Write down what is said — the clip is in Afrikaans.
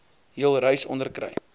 jul reis onderkry